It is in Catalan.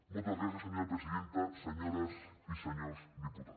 moltes gràcies senyora presidenta senyores i senyors diputats